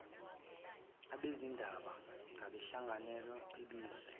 abezindaba ngabenhlangano ebizwa